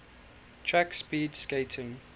track speed skating